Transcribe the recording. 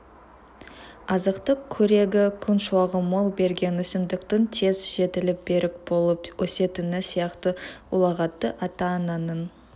азықтық қорегі күн шуағы мол берген өсімдіктің тез жетіліп берік болып өсетіні сияқты ұлағатты ата-ананың